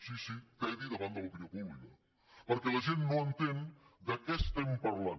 sí sí tedi davant de l’opinió pública perquè la gent no entén de què estem parlant